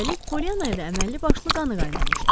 Üstəlik, Polyanaya da əməlli başlı qanı qaynamışdı.